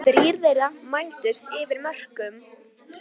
Þrír þeirra mældust yfir mörkum